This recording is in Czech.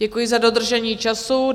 Děkuji za dodržení času.